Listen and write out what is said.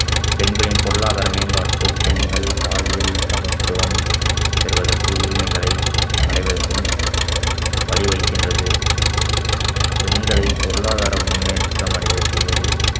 பெண்களின் பொருளாதார மேம்பாட்டு பெண்கள் பாலியல் சமத்துவம் பெறுவதற்கு உரிமைகளை அடைவதற்கும் வழிவகுக்கின்றது பெண்களை பொருளாதார முன்னேற்றம் அடைய செய்வது